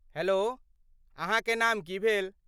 Hello, अहाँके नाम की भेल?